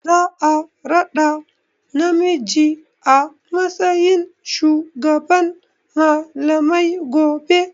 Za a raɗa namiji a matsayin shugaban malamai gobe.